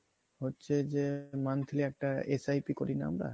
হচ্ছে যে monthly একটা SIP করি না আমরা